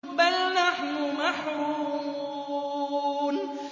بَلْ نَحْنُ مَحْرُومُونَ